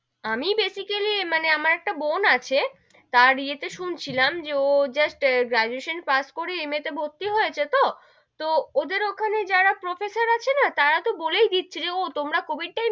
আমি basically আমার একটা বোন আছে, তার এ তে শুনছিলাম যে ও just গ্রাডুয়েশন পাস করে MA তে ভর্তি হয়েছে তো, তো ওদের ওখানে যারা professor আছে না, তারা তো বলেই দিচ্ছে, ও তোমরা কোবিদ time এ,